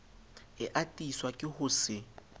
e atiswa ke ho se